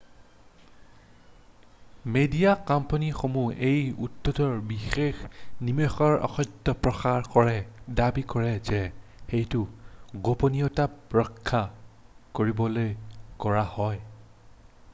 "Media কোম্পানীসমূহে এই উদ্দেশ্যৰ বিষয়ে নিয়মিতভাৱে অসত্য প্ৰচাৰ কৰে দাবী কৰে যে এইটো "গোপনীয়তা ৰক্ষা" কৰিবলৈ কৰা হয়।""